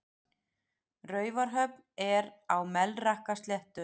Raufarhöfn er á Melrakkasléttu.